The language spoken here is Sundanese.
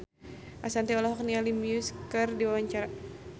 Ashanti olohok ningali Muse keur diwawancara